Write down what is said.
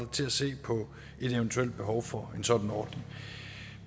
til at se på et eventuelt behov for en sådan ordning